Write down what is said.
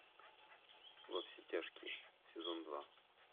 во все тяжкие сезон два